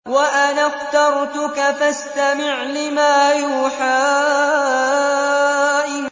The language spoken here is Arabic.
وَأَنَا اخْتَرْتُكَ فَاسْتَمِعْ لِمَا يُوحَىٰ